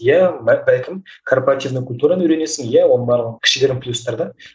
иә бәлкім корпоративный культураны үйренесің иә оның барлығы кішігірім плюстар да